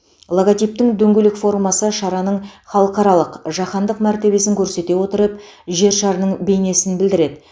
логотиптің дөңгелек формасы шараның халықаралық жаһандық мәртебесін көрсете отырып жер шарының бейнесін білдіреді